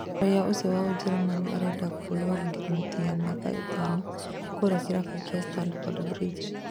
Raiya ũcio wa Ũjerũmani arenda kwĩrwo ma ngirimiti ya mĩaka ĩtano kũrĩa kĩrabu kĩa Stamford Bridge